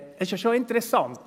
Es ist ja schon interessant;